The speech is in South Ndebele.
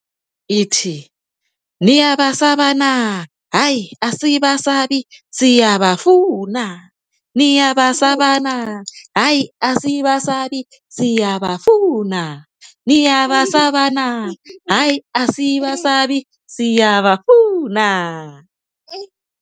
Ithi niyabasaba na hayi asibasabi siyabafuna, niyabasaba na hayi asibasabi siyabafuna, niyabasaba na hayi asibasabi siyabafuna.